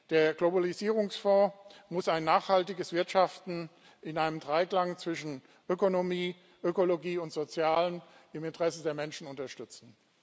Der Globalisierungsfonds muss ein nachhaltiges Wirtschaften in einem Dreiklang zwischen Ökonomie, Ökologie und Sozialem im Interesse der Menschen unterstützen.